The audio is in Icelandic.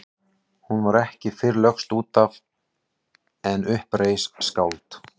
Hún var ekki fyrr lögst út af en upp reis skáld.